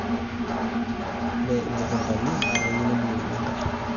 ore imukuntani naa keyieu nebukokini enkare